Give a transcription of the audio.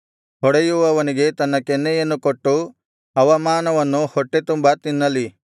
ಹೊಡೆಯುವವನಿಗೆ ತನ್ನ ಕೆನ್ನೆಯನ್ನು ಕೊಟ್ಟು ಅವಮಾನವನ್ನು ಹೊಟ್ಟೆತುಂಬಾ ತಿನ್ನಲಿ